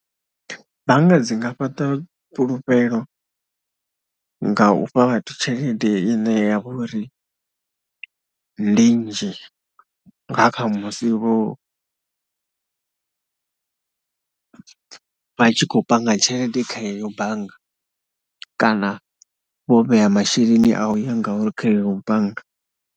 Bannga dzi nga fhaṱa fhulufhelo nga u fha vhathu tshelede ine ya vha uri ndi nnzhi nga kha musi vho, vha tshi khou panga tshelede kha heyo bannga kana vho vhea masheleni a u ya ngauri kha leneyo bannga.